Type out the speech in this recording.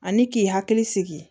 Ani k'i hakili sigi